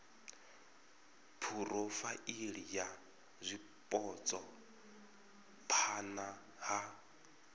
phurofaili ya zwipotso phana ha